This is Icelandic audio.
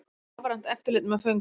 Rafrænt eftirlit með föngum